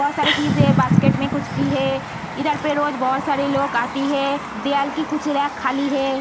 बोहोत सारी चीज है बासकेट में कुछ भी है इधर पे रोज़ बोहोत सारी लोग आती है। दियाल की कुछ रेक खाली है।